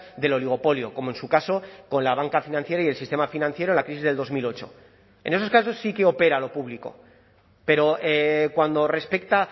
del oligopolio como en su caso con la banca financiera y el sistema financiero la crisis del dos mil ocho en esos casos sí que opera lo público pero cuando respecta